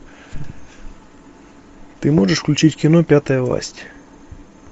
ты можешь включить кино пятая власть